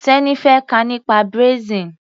Teni fẹ́ kà nípa braising.